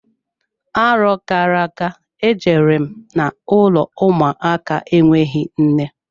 Arọ gara aga, e jere m n'ụlọ ụmụaka enweghị nne.